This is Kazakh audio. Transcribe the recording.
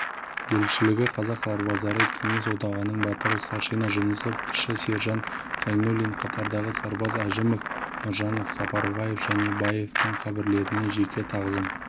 елшілігі қазақ сарбаздары кеңес одағының батыры старшина жүнісов кіші сержант зайнуллин қатардағы сарбаз әжімов нұржанов сапарбаев және баевтің қабірлеріне жеке тағзым